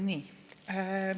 Nii.